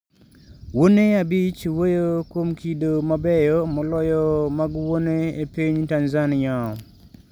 Wuone abich wuoyo kuom kido mabeyo moloyo mag wuone e piny Tanzania